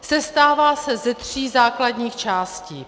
Sestává se ze tří základních částí.